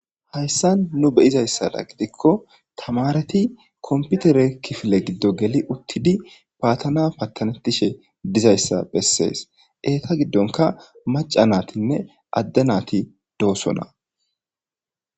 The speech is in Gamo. Haysan nu be'izasato gidiko tamareti computere kifile gido geli uthidi faatana fattanetishe dizaysa beses eeta gidonka maca naytine adde nayti de'osona.